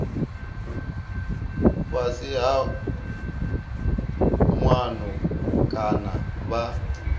fhasi ha muano kana vha